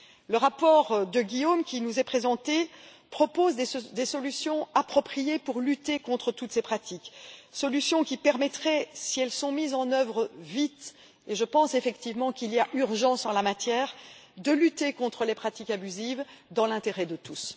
Le rapport de Guillaume Balas qui nous est présenté propose des solutions appropriées pour lutter contre toutes ces pratiques, solutions qui permettraient, si elles sont mises en œuvre vite et je pense effectivement qu'il y a urgence en la matière de lutter contre les pratiques abusives dans l'intérêt de tous.